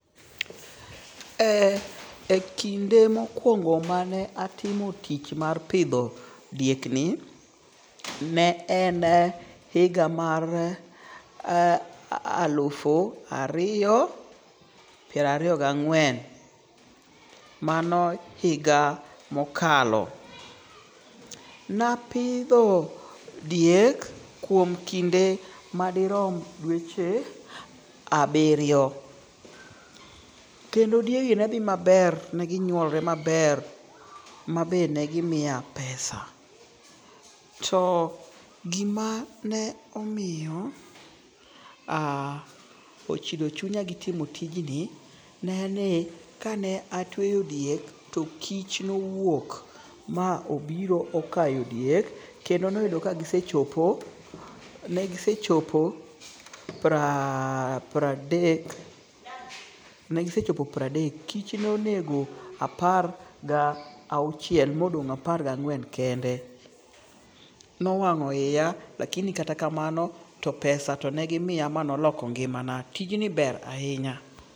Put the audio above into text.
Eee ekinde mokuongo' mane apitho tich mar pitho diekni, ne en higa mar alufu ariyo pirariyo gi ang'wen mano higa mokalo, napitho diek kuom kinde madirom dueche abiriyo, kendo diegi ne thi maber negi nyuolore maber ma be negimiya pesa, to gimane omiyo haa ochido chunya gi timo tijni, ne en ni kane atweyo diek to kich nowuok ma obiro ma okayo diek, kendo noyudo kanegisechopo negisechopo pradek negisechopo pradek kich nonego apar ga wuochiel mo ogong' apar gang'wen kende, nowango' hiya lakini kata ka en kamano to pesa to negimiya ma oloko ngi'mana tijni ber ahinya .